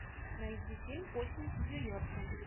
найди фильм осень в нью йорке